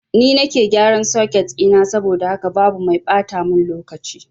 Ni nake gyaran soket ɗina saboda haka babu mai ɓata mun lokaci